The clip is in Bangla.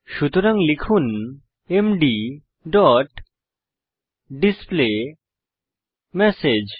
সুতরাং লিখুন এমডি ডট ডিসপ্লেমেসেজ